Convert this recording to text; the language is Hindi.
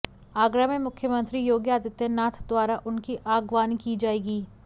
आगरा में मुख्यमंत्री योगी आदित्यनाथ द्वारा उनकी अगवानी की जाएगी